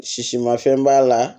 Sisi ma fɛn b'a la